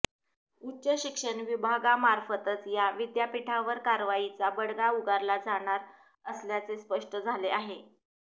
उच्च शिक्षण विभागामार्फतच या विद्यापीठावर कारवाईचा बडगा उगारला जाणार असल्याचे स्पष्ट झाले आहे